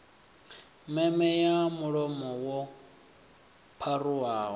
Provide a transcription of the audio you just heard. meme ya mulomo yo pharuwaho